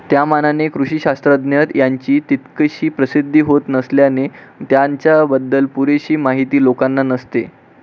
त्यामानाने कृषिशास्त्रज्ञ यांची तितकीशी प्रसिद्धी होत नसल्याने त्यांच्याबद्दल पुरेशी माहिती लोकांना नसते.